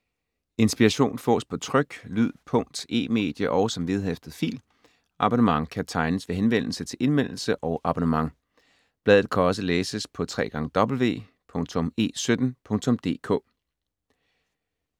Inspiration fås på tryk, lyd, punkt, e-medie og som vedhæftet fil. Abonnement kan tegnes ved henvendelse til Indmeldelse og abonnement. Bladet kan også læses på www.e17.dk